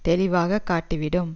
தெளிவாக காட்டி விடும்